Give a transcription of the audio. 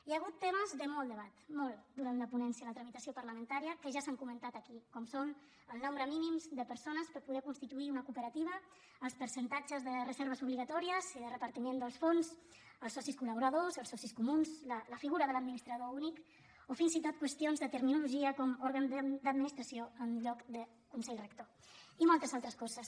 hi ha hagut temes de molt debat molt durant la ponència la tramitació parlamentària que ja s’han comentat aquí com són el nombre mínim de persones per poder constituir una cooperativa els percentatges de reserves obligatòries i de repartiment dels fons els socis col·laboradors els socis comuns la figura de l’administrador únic o fins i tot qüestions de terminologia com òrgan d’administració en lloc de consell rector i moltes altres coses